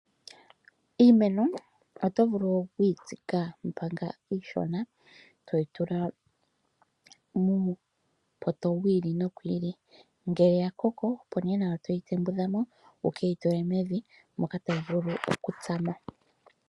Iimeno oto vulu okuyi tsika manga iishona toyitula muupoto wili nowili ngele wakoko opo ne nawa toyi tembudha mo wukeyitule mevi moka tayi vulu okutsama.